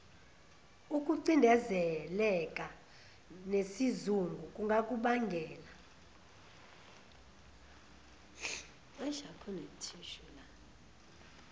ukucindezeleka nesizungu kungakubangela